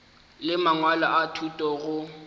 le mangwalo a thuto go